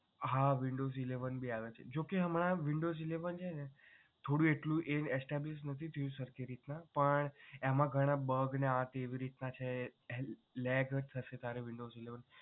હા windows eleven ભી આવે છે જોકે હમણાં windows eleven છે ને થોડું એ એટલું established નથી થયું સરખી રીત ના એમાં ઘણાં bug ને આ તે રીતના છે lag થશે તારે windows eleven